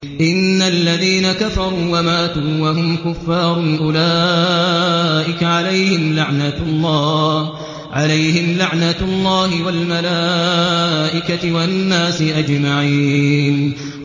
إِنَّ الَّذِينَ كَفَرُوا وَمَاتُوا وَهُمْ كُفَّارٌ أُولَٰئِكَ عَلَيْهِمْ لَعْنَةُ اللَّهِ وَالْمَلَائِكَةِ وَالنَّاسِ أَجْمَعِينَ